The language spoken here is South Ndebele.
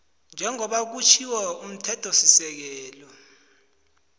njengoba kusitjho umthethosisekelo